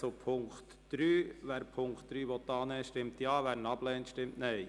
Wer den Punkt 3 annehmen will, stimmt Ja, wer dies ablehnt, stimmt Nein.